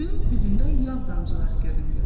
Suyun üzündə yağ damcıları göründü.